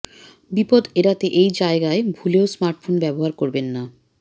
বিপদ এড়াতে এই জায়গায় ভুলেও স্মার্টফোন ব্যবহার করবেন না